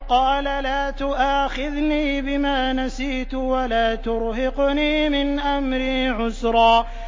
قَالَ لَا تُؤَاخِذْنِي بِمَا نَسِيتُ وَلَا تُرْهِقْنِي مِنْ أَمْرِي عُسْرًا